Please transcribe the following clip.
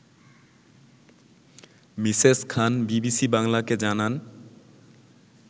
Mrs Khan BBC বাংলাকে জানান